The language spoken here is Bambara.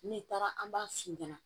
N'i taara an b'a f'i ɲɛna